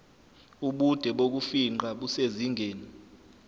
ubude bokufingqa busezingeni